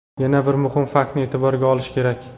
Yana bir muhim faktni e’tiborga olish kerak.